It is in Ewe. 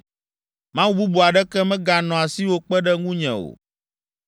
“Mawu bubu aɖeke meganɔ asiwò kpe ɖe ŋunye o.